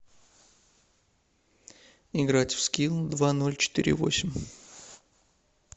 играть в скил два ноль четыре восемь